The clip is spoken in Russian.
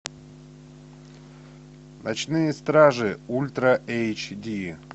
ночные стражи ультра эйч ди